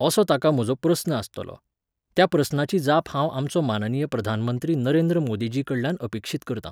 असो ताका म्हजो प्रस्न आसतलो. त्या प्रस्नाची जाप हांव आमचो माननीय प्रधानमंत्री नरेंद्र मोदीजीकडल्यान अपेक्षीत करतां